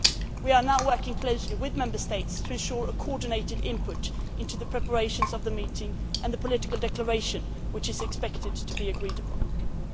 We are now working closely with Member States to ensure a coordinated input into the preparations for the meeting and the political declaration which is expected to be agreed upon.